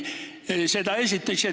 Seda esiteks.